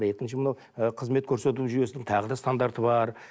екінші мынау ы қызмет көрсету жүйесінің тағы да стандарты бар